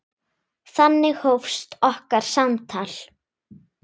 Þannig hófst okkar samtal.